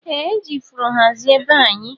Eeh eji ifuru hazie bee anyi.